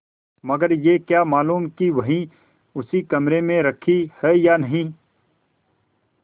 मगर यह क्या मालूम कि वही उसी कमरे में रखी है या नहीं